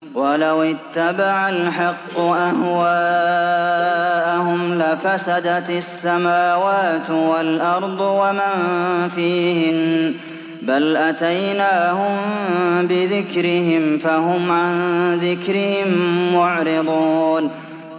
وَلَوِ اتَّبَعَ الْحَقُّ أَهْوَاءَهُمْ لَفَسَدَتِ السَّمَاوَاتُ وَالْأَرْضُ وَمَن فِيهِنَّ ۚ بَلْ أَتَيْنَاهُم بِذِكْرِهِمْ فَهُمْ عَن ذِكْرِهِم مُّعْرِضُونَ